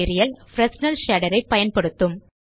Fresnel shader ஐ பயன்படுத்தும்